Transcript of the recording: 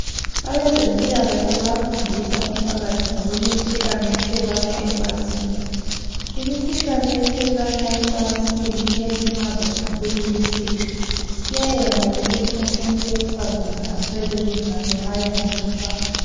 Abazempilakahle bayafindisa umphakathi ngokwe'mikhuhlane ethelelwana ecansini ,imikhuhlane ethelelwana ecansini iyalimaza kakhulu isitho ,iyayenza ukuthi umuntu wesifazane aswele inzalo nxa engalatshwanga.